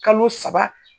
Kalo saba